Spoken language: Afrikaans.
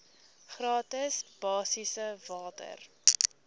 gratis basiese water